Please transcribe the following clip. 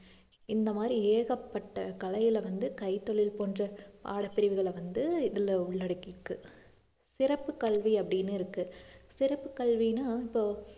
இந்த மாதிரி ஏகப்பட்ட கலையில வந்து கைத்தொழில் போன்ற பாடப்பிரிவுகளை வந்து இதுல உள்ளடக்கி இருக்கு சிறப்பு கல்வி அப்படின்னு இருக்கு சிறப்பு கல்வின்னா இப்போ